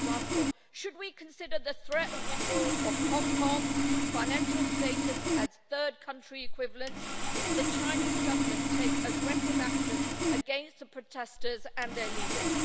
For example, should we consider the threat of withdrawal of Hong Kong's financial status as third country equivalence if the Chinese Government takes aggressive action against the protesters and their leaders?